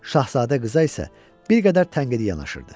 Şahzadə qıza isə bir qədər tənqidi yanaşırdı.